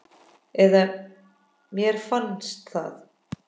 Eða mér finnst það.